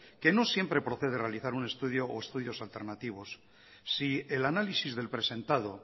que no siempre procede realizar un estudio o estudios alternativos si el análisis del presentado